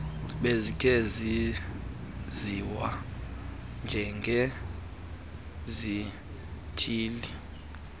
bezikhe zaziwa njengezithili